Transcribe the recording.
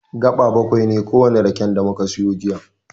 Gaɓa baƙwai ne kowane raken da muka siyo jiya.